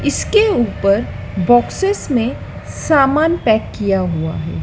इसके ऊपर बॉक्सेस में सामान पैक किया हुआ है।